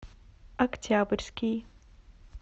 октябрьский